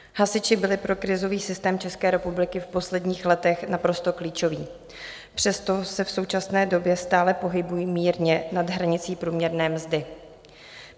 Hasiči byli pro krizový systém České republiky v posledních letech naprosto klíčoví, přesto se v současné době stále pohybují mírně nad hranicí průměrné mzdy.